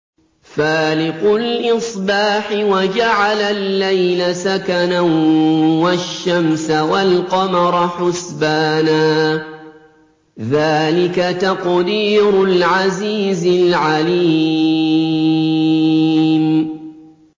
فَالِقُ الْإِصْبَاحِ وَجَعَلَ اللَّيْلَ سَكَنًا وَالشَّمْسَ وَالْقَمَرَ حُسْبَانًا ۚ ذَٰلِكَ تَقْدِيرُ الْعَزِيزِ الْعَلِيمِ